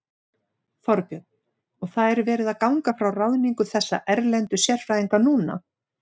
Þorbjörn: Og það er verið að ganga frá ráðningu þessara erlendu sérfræðinga núna?